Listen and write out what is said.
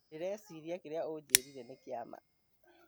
Ndĩreeciria kĩrĩa ũnjĩrire nĩ kĩa ma